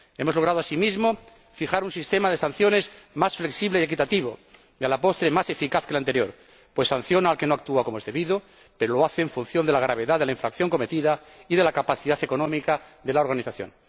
Hemos logrado asimismo fijar un sistema de sanciones más flexible y equitativo y, a la postre, más eficaz que el anterior, pues sanciona al que no actúa como es debido, pero lo hace en función de la gravedad de la infracción cometida y de la capacidad económica de la organización.